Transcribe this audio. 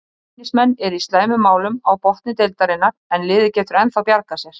Reynismenn eru í slæmum málum á botni deildarinnar en liðið getur ennþá bjargað sér.